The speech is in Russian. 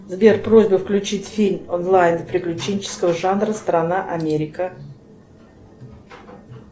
сбер просьба включить фильм онлайн приключенческого жанра страна америка